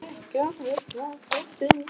Þú verður ekki óhult á götunum.